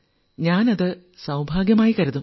അത് ഞാൻ സൌഭാഗ്യമായി കരുതും